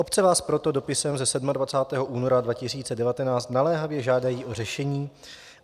Obce vás proto dopisem ze 27. února 2019 naléhavě žádají o řešení.